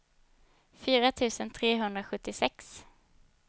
fyra tusen trehundrasjuttiosex